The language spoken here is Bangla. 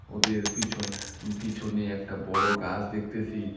ওদের পিছন উম পিছনে একটা বড়ো গাছ দেখতেসি।